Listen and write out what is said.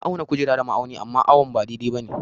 Na auna kujera da ma'auni amma awon ba dai-dai ba ne.